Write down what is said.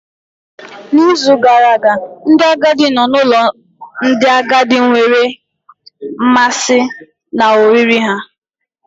N'izu gara aga, ndị agadi nọ n'ụlọ ndị agadi nwere mmasị na oriri ha.